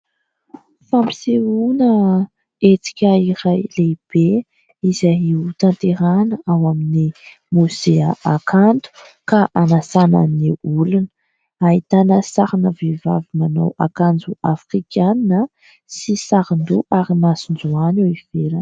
Fampisehoana hetsika iray lehibe izay hotanterahiana ao amin'ny mosea hakanto, ka hanasana ny olona. Ahitana ny sarina vehivavy manao akanjo afrikana sy sarin-doha ary masonjohany eo ivelany.